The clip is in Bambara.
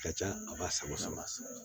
Ka ca a ba saba